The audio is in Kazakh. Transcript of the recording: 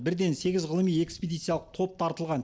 бірден сегіз ғылыми экспедициялық топ тартылған